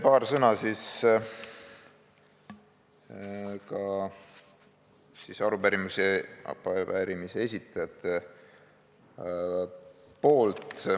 Paar sõna ka arupärimise esitajate poolt.